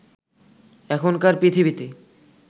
এখনকার পৃথিবীতে